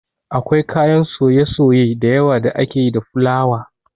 Akwai kayan soye-soye dayawa da ake yi da fulawa